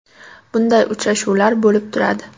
Bunday uchrashuvlar bo‘lib turadi.